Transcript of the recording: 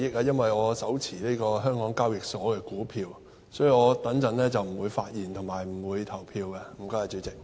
因為我持有香港交易及結算所有限公司的股票，所以我稍後不會發言，亦不會投票。